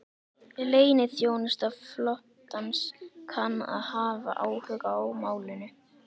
Leyniþjónusta flotans kann að hafa áhuga á málinu